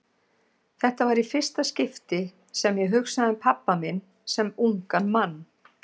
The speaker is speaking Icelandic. Þetta var í fyrsta skipti sem ég hugsaði um pabba minn sem ungan mann.